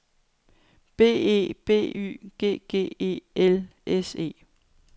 B E B Y G G E L S E